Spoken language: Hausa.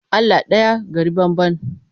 Allah ɗaya gari banban.